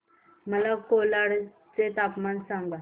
मला कोलाड चे तापमान सांगा